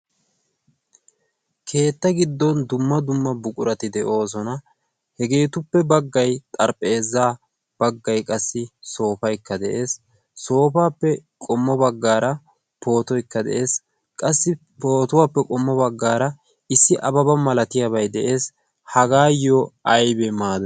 keetta giddon dumma dumma buqurati de'oosona. hegeetuppe baggay xarphpheeza baggay qassi soofaykka de'ees. soofaappe qommo baggaara pootoykka de'ees. qassi pootuwaappe qommo baggaara issi ababa m'latiyaabay de'ees hagaayyo aybe maadi?